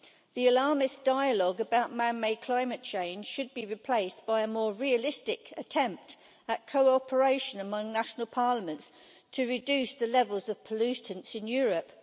The alarmist dialogue about man-made climate change should be replaced by a more realistic attempt at cooperation among national parliaments to reduce the levels of pollutants in Europe.